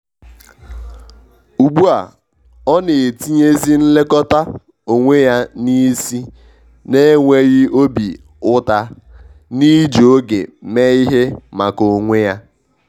ugbu a ọ na etinye zi nlekọta onwe ya n’isi n'enweghị obi uta n’iji oge mee ihe maka onwe ya.